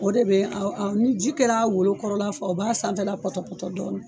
O de be a a ni ji kɛr'a wolo kɔrɔ la faa o b'a sanfɛla pɔtɔpɔtɔ dɔɔni